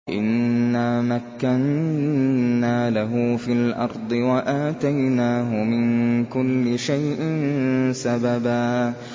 إِنَّا مَكَّنَّا لَهُ فِي الْأَرْضِ وَآتَيْنَاهُ مِن كُلِّ شَيْءٍ سَبَبًا